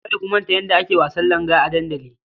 Kada ku manta yadda ake wasan langa a dandali.